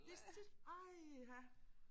De så tit øj ha